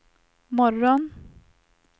morgon